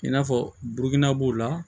I n'a fɔ burukina b'o la